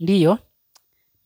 Ndiyo,